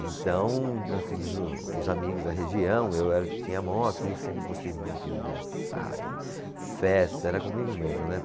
Então, nós tínhamos o, os amigos da região, eu era o que tinha a moto, e eu sempre gostei muito de dançar, de festa, era comigo mesmo, né?